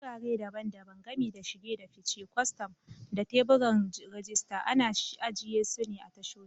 Wurare daban-daban, gami da shige da fice, kwastam, da teburan rajista, ana ajiye su a tashoshi.